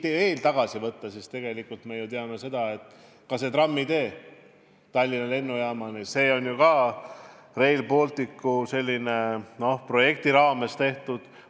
Kui ajas veel tagasi minna, siis tegelikult on ju ka trammitee Tallinna Lennujaamani Rail Balticu projekti raames tehtud.